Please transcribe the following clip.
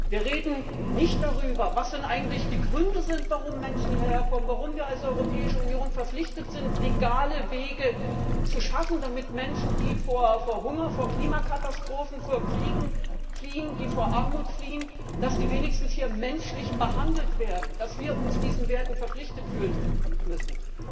Wir reden nicht darüber, was denn eigentlich die Gründe sind, warum Menschen hierher kommen, warum wir als Europäische Union verpflichtet sind, legale Wege zu schaffen, damit Menschen, die vor Hunger, Klimakatastrophen, Kriegen oder Armut fliehen, wenigstens menschlich behandelt werden, und dass wir uns diesen Werten verpflichtet fühlen müssen.